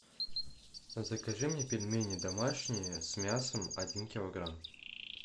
закажи мне пельмени домашние с мясом один килограмм